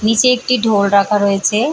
নীচে একটি ঢোল রাখা রয়েছে।